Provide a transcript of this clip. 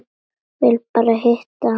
Varð bara að hitta hana.